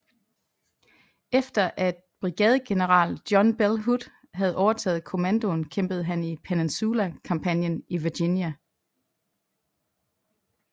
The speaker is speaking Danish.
Efter at brigadegeneral John Bell Hood havde overtaget kommandoen kæmpede han i Peninsula kampagnen i Virginia